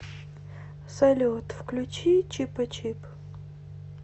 салют включи чипачип